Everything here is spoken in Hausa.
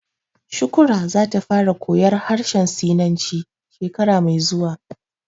Shukrah za ta fara koyar harshen sinanci shekara mai zuwa